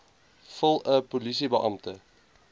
vul n polisiebeampte